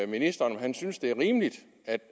ministeren om han synes det er rimeligt